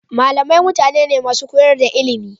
Malamai mutane ne masu koyar da ilimi.